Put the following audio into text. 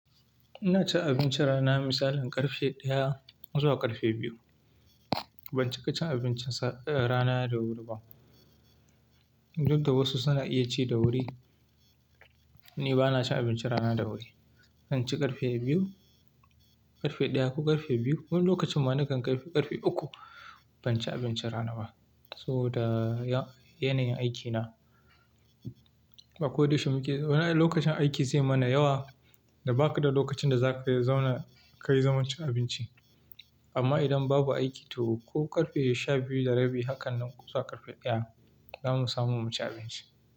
Ina cin abincin rana misalin ƙarfe ɗaya zuwa ƙarfe biyu. Ban cika cin abincin rana da wuri ba. Duk da wasu suna iya ci da wuri, ni ba na cin abincin rana da wuri. Na kan ci ƙarfe biyu, ƙarfe ɗaya ko ƙarfe biyu. Wani lokacin ma nakan kai ƙarfe, uku ban ci abincin rana ba. Saboda yanayin aikina. A ko da yaushe muke, wallahi lokacin aiki zai mana yawa da ba ka da lokacin da za ka zauna ka yi zaman cin abinci. Amma idan babu aiki to ko ƙarfe sha biyu da rabi, hakan nan zuwa ƙarfe ɗaya, zamu samu mu ci abinci.